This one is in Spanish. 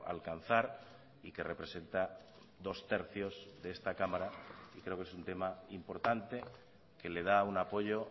alcanzar y que representa dos tercios de esta cámara y creo que es un tema importante que le da un apoyo